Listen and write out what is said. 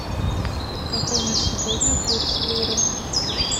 какой на сегодня курс лиры